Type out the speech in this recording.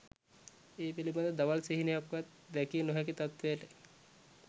ඒ පිළිබඳ දවල් සිහිනයක්වත් දැකිය නොහැකි තත්ත්වයට